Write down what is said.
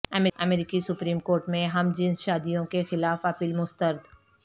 امریکی supreme court میں ہم جنس شادیوں کے خلاف اپیل مسترد